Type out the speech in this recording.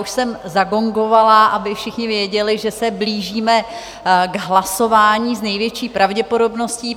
Už jsem zagongovala, aby všichni věděli, že se blížíme k hlasování s největší pravděpodobností.